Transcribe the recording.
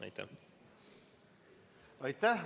Aitäh!